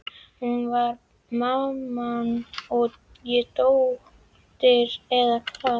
Hún var mamman og ég dóttirin, eða hvað?